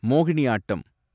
Mohiniyattam